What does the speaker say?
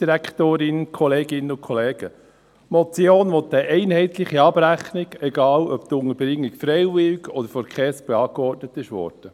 Die Motion will eine einheitliche Abrechnung, egal ob die Unterbringung freiwillig ist oder von der KESB angeordnet wurde.